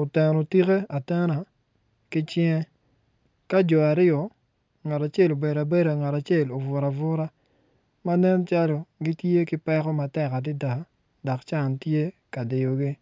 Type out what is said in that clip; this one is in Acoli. oteno tike atena ki cinge ka jo aryo ngat aacel obedo abeda ngat acel obuto abuta ma nen calo gitye ki peko adada dok can tye ka diyogi.